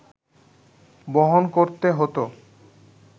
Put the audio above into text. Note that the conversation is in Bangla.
বহন করতে হতো